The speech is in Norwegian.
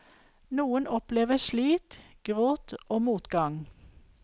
Noen opplever slit, gråt og motgang.